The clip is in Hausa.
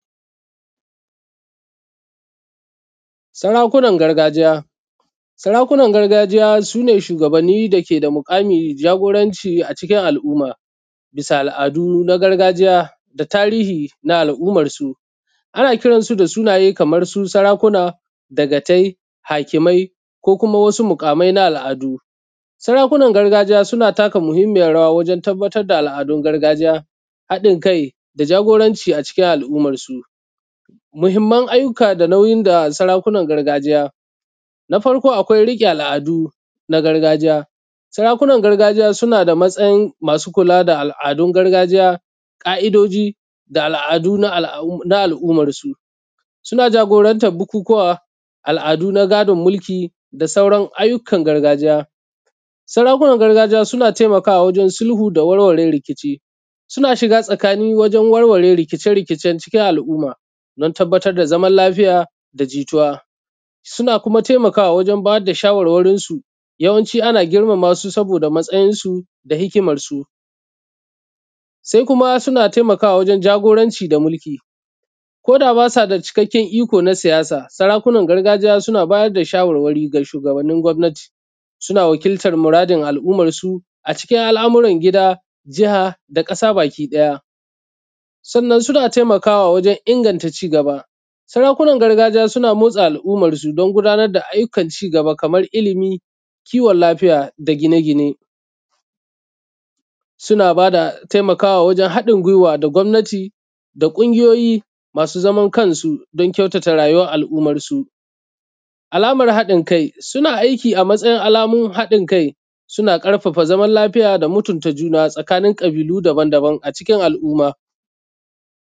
Sarakunan gargajiya. Sarakunan gargajiya su ne shugabanni da ke da muƙami, jagoranci a cikin al’umma. Bisa al’adu na gargajiya da tarihi na al’ummar su. Ana kiransu da sunaye kamar su sarakuna, dagatai, hakimai, ko kuma wasu muƙamai na al’adu. Sarakunan gargajiya suna taka muhimiyyar rawa wajen tabbatar da al’adun gargajiya, haɗin kai, da jagoranci a cikin al’umarsu. Muhimimman aiyyuka da nauyin da sarakunan gargajiya. Na farko akwai riƙe al’adu na gargajiya. Sarakunan gargajiya suna da matsayin masu kula da al’adun gargajiya, ƙa’idoji da al’adu na al’ummar su. Suna jagorantar bukukkuwa, al, adu na gadon mulki da sauran aiyyukan gargajiya. Sarakunan gargajiya suna taimakawa wajen sulhu da warware rikici. Suna shiga tsakani wajen warware rikice rikicen cikin al’uma don tabbatar da zaman lafiya da jituwa. Suna kuma taimaka wa wajen ba da shawarwarinsu. Yawanci ana girmama su saboda matsayin su da hikimar su. Sai kuma suna taimakawa wajen jagoranci da mulki koda ba su da cikakkken iko na siyasa, sarakunar gargajiya suna ba da shawarwari ga shugabannin gwa gwammnati. Suna wakiltan muradin al’ummarsu a cikin al’amurar gida, jaha, da ƙasa baki ɗaya. Sannan suna taimakawa wajen inganta cigaba. Sarakunan gargajiya suna motsa al’ummar su don gudanar da ayyukar cigaba kamar ilimi, kiwon lafiya da gine gine. Suna ba da taimakawa wajen haɗin guiwa da gwammnati da ƙungiyoyyi masu zaman kansu don kyautata rayuwar al’ummar su. Alamar haɗin kai. Suna aiki a matsayin alamomi haɗin kai, suna ƙarfafa zaman lafiya da mutunta juna tsakanin ƙabilu daban daban a cikin al, umma.